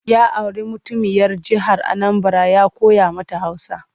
Ya auri mutuniyar jihar Anambara ya koya mata Hausa.